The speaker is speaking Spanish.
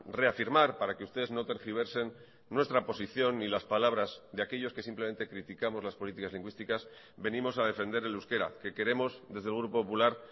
reafirmar para que ustedes no tergiversen nuestra posición y las palabras de aquellos que simplemente criticamos las políticas lingüísticas venimos a defender el euskera que queremos desde el grupo popular